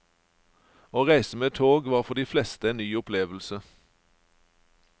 Å reise med tog var for de fleste en ny opplevelse.